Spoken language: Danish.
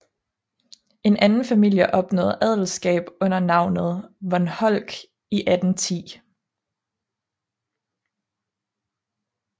En anden familie opnåede adelskab under navnet von Holck i 1810